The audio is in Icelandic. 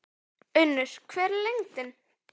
Unnur, hver er lendingin?